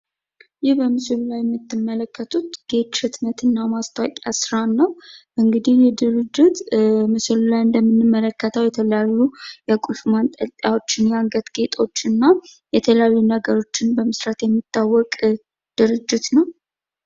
ይህ በምስሉ ላይ የምትመለከቱት ጌች ህትመትና ማስታወቂያ ስራን ነው። እንግዲህ ይህ ድርጅት የቁስ ማንጠንልጠያዎችን፣ የአንገት ጌጦችን እና የተለያዩ ነገሮችን በመስራት የሚታወቅ ድርጅት ነው።